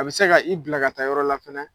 A bɛ se ka i bila ka taa yɔrɔ la fɛnɛ.